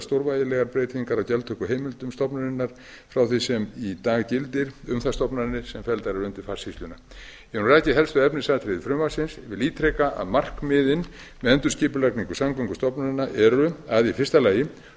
stórvægilegar breytingar á gjaldtökuheimildum stofnunarinnar frá því sem í dag gildir um þær stofnanir sem felldar eru undir farsýsluna ég hef nú rakið helstu efnisatriði frumvarpsins vil ítreka að markmiðin með endurskipulagningu samgöngustofnana eru fyrstu